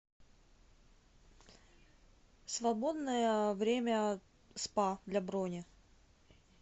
свободное время спа для брони